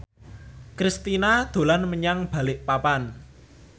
Kristina dolan menyang Balikpapan